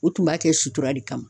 U tun b'a kɛ sutura de kama